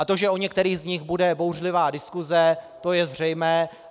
A to, že o některých z nich bude bouřlivá diskuse, to je zřejmé.